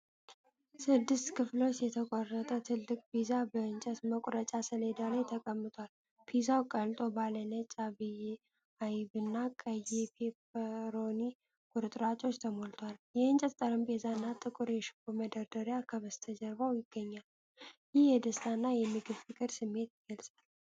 ስድስት ክፍሎች የተቆረጠ ትልቅ ፒዛ በእንጨት መቁረጫ ሰሌዳ ላይ ተቀምጧል። ፒዛው ቀልጦ ባለ ነጭ አይብና ቀይ የፔፐሮኒ ቁርጥራጮች ተሞልቷል። የእንጨት ጠረጴዛና ጥቁር የሽቦ መደርደሪያ ከበስተጀርባው ይገኛሉ። ይህ የደስታና የምግብ ፍቅር ስሜት ይገልጻል።